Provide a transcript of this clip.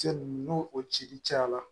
Cɛ nunnu n'o o cili cayara